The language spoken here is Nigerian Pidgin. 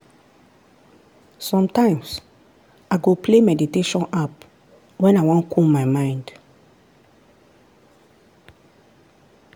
sometimes i go play meditation app when i wan cool my mind.